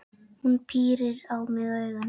Hún pírir á mig augun.